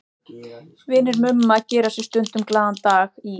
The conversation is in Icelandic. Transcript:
Vinir Mumma gera sér stundum glaðan dag í